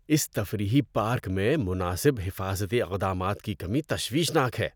اس تفریحی پارک میں مناسب حفاظتی اقدامات کی کمی تشویشناک ہے۔